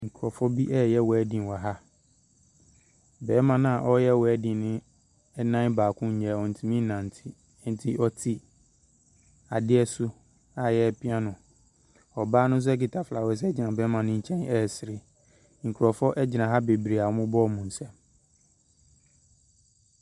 Nkorɔfoɔ bi ɛyɛ wɛɛden wɔ ha. Bɛɛma na ɔyɛ wɛɛden no ɛnan baako nnyɛ, ɔntʋmi nante. Enti ɔte adeɛ so, a yɛɛpia no. Ɔbaa no nso ekita fawɛse egyina bɛɛma ne nkyɛn ɛsere. Nkorɔfoɔ egyina ha bebree, a ɔmo bɔ wɔn nsɛm.